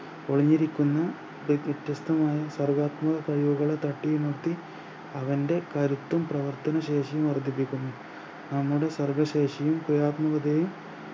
ഒളിഞ്ഞിരിക്കുന്ന വ്യ വ്യത്യസ്തമായ സാർഗാത്മിക കഴിവുകളെ തട്ടി ഉണർത്തി അവൻ്റെ കരുത്തും പ്രവർത്തന ശേഷിയും വർധിപ്പിക്കുന്നു. നമ്മുടെ സർഗശേഷിയും ക്രിയാത്മികതയും